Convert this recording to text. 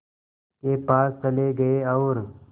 के पास चले गए और